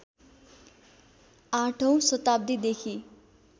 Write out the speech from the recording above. ८औं शताब्दीदेखि